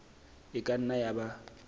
e ka nna ya ba